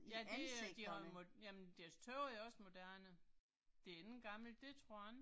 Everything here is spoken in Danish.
Ja det øh de har jo, jamen deres tøj er også moderne. Det ikke gammelt, det tror jeg ikke